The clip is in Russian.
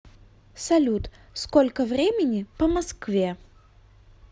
салют сколько времени по москве